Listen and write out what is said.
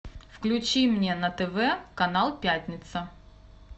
включи мне на тв канал пятница